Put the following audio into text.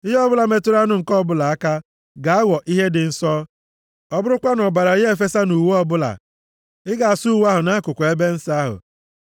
Ihe ọbụla metụrụ anụ nke ọbụla aka, ga-aghọ ihe dị nsọ. Ọ bụrụkwa na ọbara ya efesa nʼuwe ọbụla, ị ga-asụ uwe ahụ nʼakụkụ ebe nsọ ahụ.